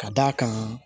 Ka d'a kan